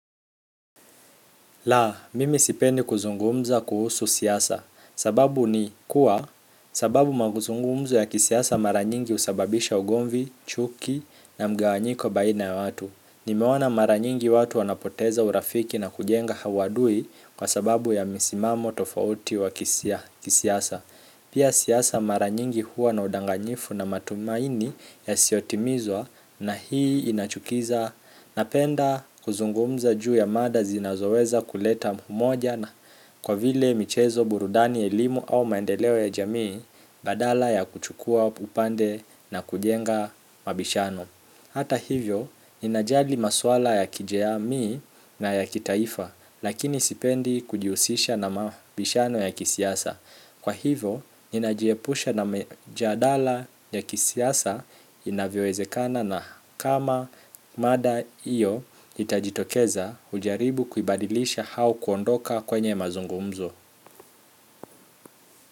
La, mimi sipendi kuzungumza kuhusu siasa. Sababu ni kuwa, sababu mazungumzo ya kisiasa maranyingi husababisha ugomvi, chuki na mgawanyiko baina ya watu. Nimeona mara nyingi watu wanapoteza urafiki na kujenga uadui kwa sababu ya misimamo tofauti wa kisiasa pia siasa maranyingi huwa na udanganyifu na matumaini yasiyotimizwa na hii inachukiza. Napenda kuzungumza juu ya mada zinazoweza kuleta umoja na kwa vile michezo burudani elimu au maendeleo ya jamii badala ya kuchukua upande na kujenga mabishano hata hivyo, ninajali maswala ya kijamii na ya kitaifa lakini sipendi kujihusisha na mabishano ya kisiasa kwa hivo, ninajiepusha na mijadala ya kisiasa inavyowezekana na kama mada hiyo itajitokeza ujaribu kubadilisha au kuondoka kwenye mazungumzo.